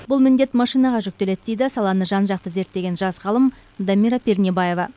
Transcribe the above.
бұл міндет машинаға жүктеледі дейді саланы жан жақты зерттеген жас ғалым дамира пернебаева